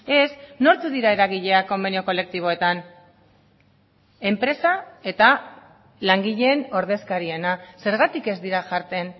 ez nortzuk dira eragileak konbenio kolektiboetan enpresa eta langileen ordezkariena zergatik ez dira jartzen